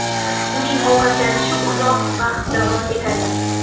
Uning ovqatlanishi uzoq vaqt davom etadi.